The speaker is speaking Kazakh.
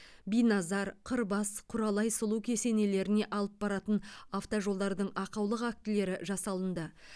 биназар қырбас құралай сұлу кесенелеріне алып баратын автожолдардың ақаулық актілері жасалынды